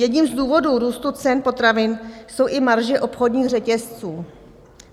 Jedním z důvodů růstu cen potravin jsou i marže obchodních řetězců.